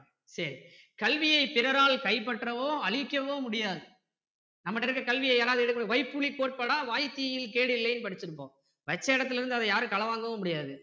சரி கல்வியை பிறரால் கைப்பற்றவோ அழிக்கவோ முடியாது நம்ம கிட்ட இருக்க கல்வியை யாராவது எடுக்க முடியும் வைப்புலி போர்ப்படா வாய்த்தீயில் கேடில்லைன்னு படிச்சிருக்கோம் வச்ச இடத்துல இருந்து அதை யாரும் களவாங்கவும் முடியாது